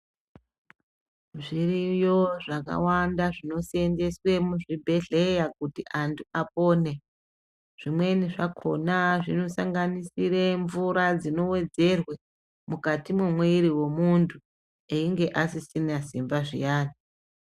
Zviriyo zvakawanda zvinoseenzeswe muzvibhedhleya kuti antu apone, zvimweni zvakona zvinosanganisire mvura dzinowedzerwe mukati momuviri wemuntu eyinge asisina simba zviyani.